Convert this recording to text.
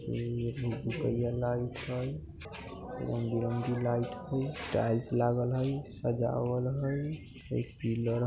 यहाँ पर रंग-बिरंगी लाइट है टाइल्स लागल है मजा आवल है